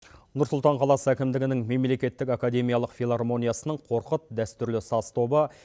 нұрсұлтан қаласы әкімдігінің мемлекеттік академиялық филармониясының қорқыт дәстүрлі сас тобы